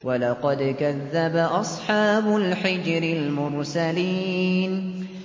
وَلَقَدْ كَذَّبَ أَصْحَابُ الْحِجْرِ الْمُرْسَلِينَ